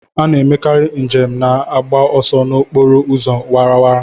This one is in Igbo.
A na-emekarị njem na-agba ọsọ n'okporo ụzọ awara awara.